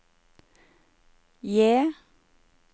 J